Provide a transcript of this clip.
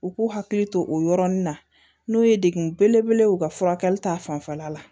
U k'u hakili to o yɔrɔnin na n'o ye dekun belebele ye u ka furakɛli ta fanfɛla la